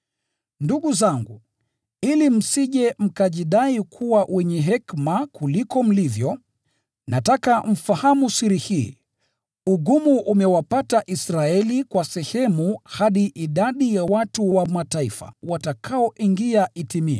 Ndugu zangu, ili msije mkajidai kuwa wenye hekima kuliko mlivyo, nataka mfahamu siri hii: Ugumu umewapata Israeli kwa sehemu hadi idadi ya watu wa Mataifa watakaoingia itimie.